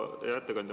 Hea ettekandja!